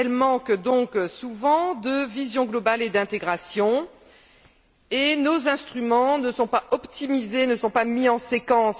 Elles manquent donc souvent de vision globale et d'intégration, et nos instruments ne sont pas optimisés, ne sont pas mis en séquence.